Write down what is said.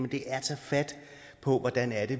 det er at tage fat på hvordan